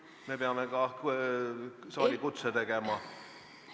Me peame ka saalikutse tegema!